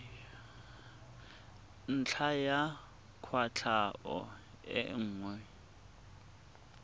ntlha ya kwatlhao e nngwe